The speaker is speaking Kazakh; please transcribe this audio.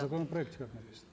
в законопроекте как написано